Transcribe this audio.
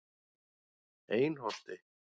Einholti